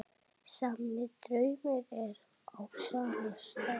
Sami draumur á sama stað.